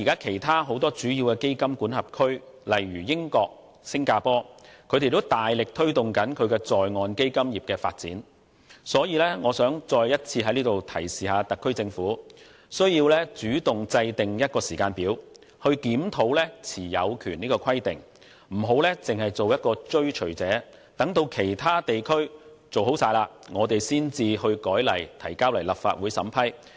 其他主要基金管轄區，例如英國和新加坡，目前都大力推動在岸基金業的發展，所以我想再一次提示特區政府須主動制訂時間表，檢討持有權的規定，不要只做追隨者，待其他地區做妥後才修改法例提交立法會審批。